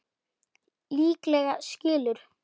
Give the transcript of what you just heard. Líklega skilur